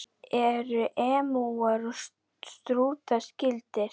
Eru emúar og strútar skyldir?